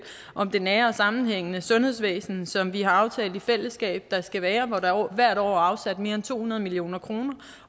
om det nære og sammenhængende sundhedsvæsen som vi har aftalt i fællesskab at der skal være hvor der hvert år er afsat mere end to hundrede million kroner